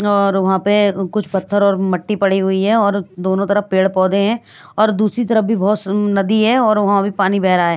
और वहाँ पे कुछ पत्थर और मट्टी पड़ी हुई है और दोनों तरफ पेड़ पौधे हैं और दूसरी तरफ भी बहुत नदी है और वहाँ भी पानी बह रहा है ।